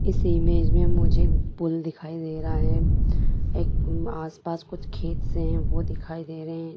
इस इमेज में मुझे पुल दिखाई दे रहा है। एक आसपास कुछ खेत से हैं वो दिखाई दे रहे हैं।